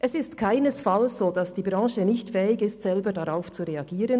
Es ist keinesfalls so, dass die Branche nicht fähig ist, selber darauf zu reagieren.